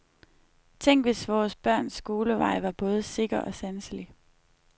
Tænk, hvis vores børns skolevej var både sikker og sanselig.